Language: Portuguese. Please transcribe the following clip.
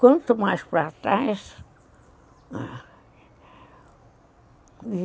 Quanto mais para trás... E...